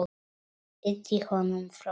Ýti honum frá mér.